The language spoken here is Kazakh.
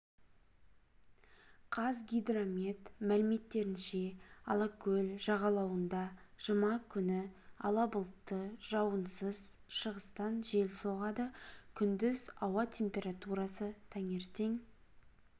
қазгидромет мәліметтерінше алакөл жағалауында жұма күні ала бұлтты жауынсыз шығыстан жел соғады күндіз ауа температурасы таңертең